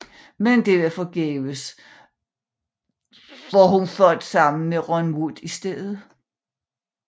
Men det var forgæves da hun fandt sammen med Ron Wood i stedet